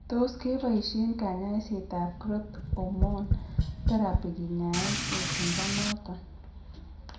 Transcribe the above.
Tos kebaishien kanyaiset ab Growth hormone therapy kinyaen etundo noton